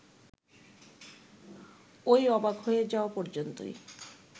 ওই অবাক হয়ে যাওয়া পর্যন্তই